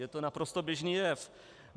Je to naprosto běžný jev.